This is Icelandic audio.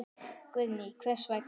Guðný: Hvers vegna?